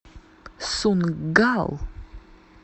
сунггал